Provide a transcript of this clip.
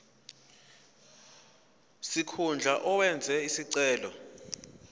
sikhundla owenze isicelo